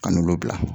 An n'olu bila